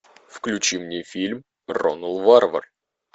включи мне фильм ронал варвар